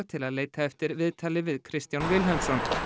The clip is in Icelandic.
til að leita eftir viðtali við Kristján Vilhelmsson